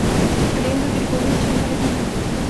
олега григорьевича бородина